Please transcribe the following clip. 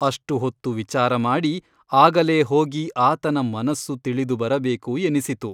ಅಷ್ಟು ಹೊತ್ತು ವಿಚಾರಮಾಡಿ ಆಗಲೇ ಹೋಗಿ ಆತನ ಮನಸ್ಸು ತಿಳಿದು ಬರಬೇಕು ಎನಿಸಿತು.